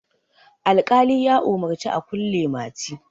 alƙali ya umarci a kulle mati